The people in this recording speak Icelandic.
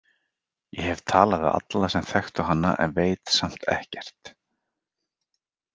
Ég hef talað við alla sem þekktu hana en veit samt ekkert.